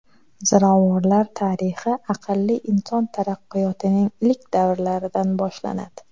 Ziravorlar tarixi aqlli inson taraqqiyotining ilk davrlaridan boshlanadi.